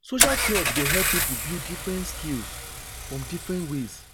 Social club dey help pipu build different skills from different ways.